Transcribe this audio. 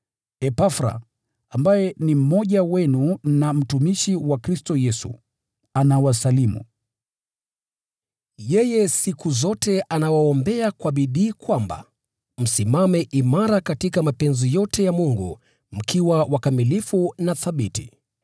Epafra, ambaye ni mmoja wenu na mtumishi wa Kristo Yesu, anawasalimu. Yeye siku zote anawaombea kwa bidii kwamba msimame imara katika mapenzi yote ya Mungu, mkiwa wakamilifu na thabiti.